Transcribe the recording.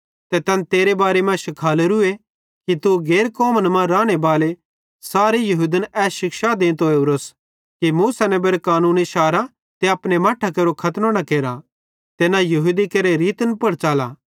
ते तैन तेरे बारे शिखालेरू कि तू गैर कौमन मां रानेबाले सारे यहूदन ए शिक्षा देंतो ओरोस कि मूसा नेबेरे कानूनेरे शारने ते अपने मट्ठां केरो खतनो न केरा ते न यहूदी केरे रीतन पुड़ न च़ला